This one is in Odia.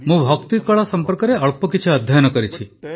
ମୁଁ ଭକ୍ତି କଳା ସମ୍ପର୍କରେ କିଛି ଅଧ୍ୟୟନ କରିଛି